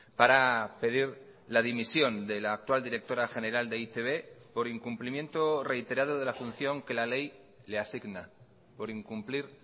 para pedir la dimisión de la actual directora general de e i te be por incumplimiento reiterado de la función que la ley le asigna por incumplir